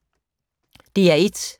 DR1